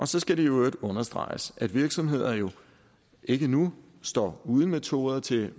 så skal det i øvrigt understreges at virksomheder jo ikke nu står uden metoder til